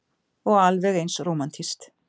Og alveg eins rómantískt.